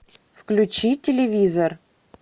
включи телевизор